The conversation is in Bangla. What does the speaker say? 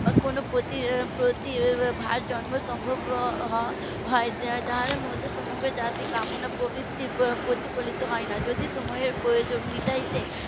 কোনো প্রতি~ প্রতিভা জন্ম সম্ভব হয় যার মধ্যে সমগ্র জাতির কামনা প্রবৃত্তি প্রতিফলিত হয় না যদি তোমাদের প্রয়োজন মিটাতে